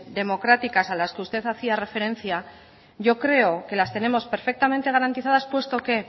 democráticas a las que usted hacía referencia yo creo que las tenemos perfectamente garantizadas puesto que